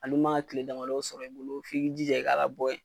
Hali man ka kile sɔrɔ i bolo f'i k'i jija i ka labɔ yen.